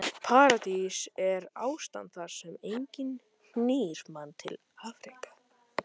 Paradís er ástand þar sem enginn knýr mann til afreka.